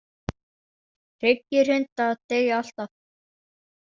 Tryggir hundar deyja alltaf.